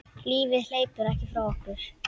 Lífið hleypur ekki frá okkur.